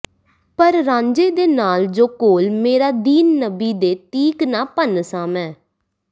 ਪਰ ਰਾਂਝੇ ਦੇ ਨਾਲ ਜੋ ਕੌਲ ਮੇਰਾ ਦੀਨ ਨਬੀ ਦੇ ਤੀਕ ਨਾ ਭੰਨਸਾਂ ਮੈਂ